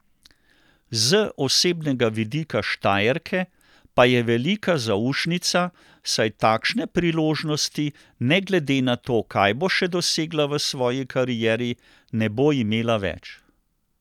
Z osebnega vidika Štajerke pa je velika zaušnica, saj takšne priložnosti, ne glede na to, kaj bo še dosegla v svoji karieri, ne bo imela več.